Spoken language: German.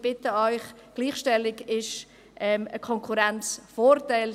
Ich bitte Sie: Gleichstellung ist ein Konkurrenzvorteil.